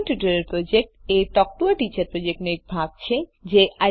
spoken tutorial project a talk to a teacher પ્રોજેક્ટનો એક ભાગ છે